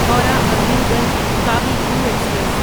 Howrah Azimganj Kavi Guru express